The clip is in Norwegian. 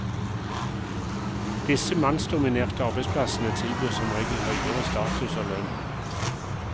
Disse mannsdominerte arbeidsplassene tilbyr som regel høyere status og lønn.